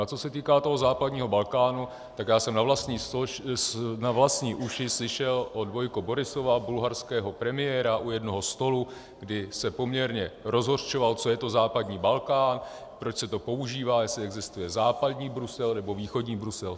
A co se týká toho západního Balkánu, tak já jsem na vlastní uši slyšel od Vojka Borisova, bulharského premiéra, u jednoho stolu, kdy se poměrně rozhořčoval, co je to západní Balkán, proč se to používá, jestli existuje západní Brusel nebo východní Brusel.